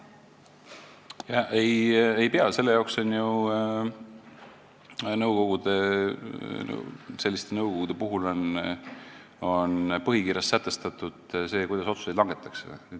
Ei pea, selliste nõukogude põhikirjas on sätestatud, kuidas otsuseid langetatakse.